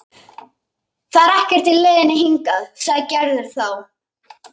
Það er ekkert í leiðinni hingað, sagði Gerður þá.